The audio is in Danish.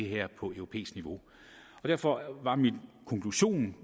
her på europæisk niveau derfor var min konklusion